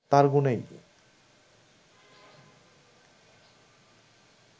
তাঁর গুণেই